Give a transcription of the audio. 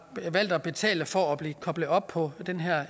valgt at betale for at blive koblet op på den her